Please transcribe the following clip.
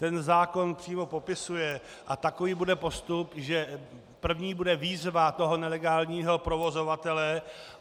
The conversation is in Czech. Ten zákon přímo popisuje, a takový bude postup, že první bude výzva toho nelegálního provozovatele.